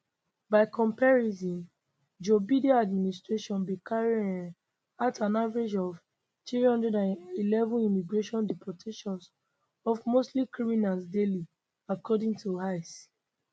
by comparison joe biden administration bin carry um out an average of 311 immigration deportations of mostly criminals daily according to ice